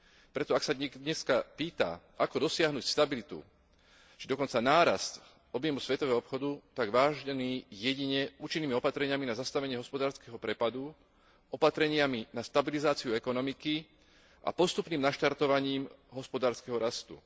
Preto ak sa niekto dneska pýta, ako dosiahnuť stabilitu, či dokonca nárast objemu svetového obchodu, tak, vážení, jedine účinnými opatreniami na zastavenie hospodárskeho prepadu, opatreniami na stabilizáciu ekonomiky a postupným naštartovaním hospodárskeho rastu.